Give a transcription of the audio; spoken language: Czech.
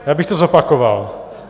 Já bych to zopakoval.